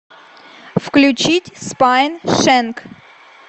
включить спайншэнк